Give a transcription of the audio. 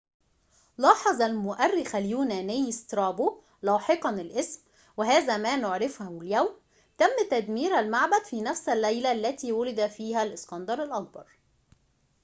لاحظ المؤرخ اليوناني سترابو لاحقاً الاسم وهذا ما نعرفه اليوم تم تدمير المعبد في نفس الليلة التي ولد فيها الإسكندر الأكبر